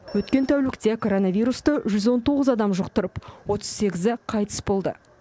өткен тәулікте коронавирусты жүз он тоғыз адам жұқтырып отыз сегізі қайтыс болды